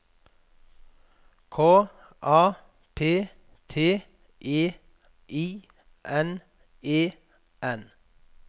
K A P T E I N E N